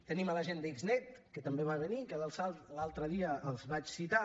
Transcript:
tenim la gent d’xnet que també va venir que l’altre dia els vaig citar